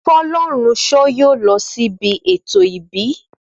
Fọlọ́runṣọ́ yóò lọ sí ibi ètò ìbí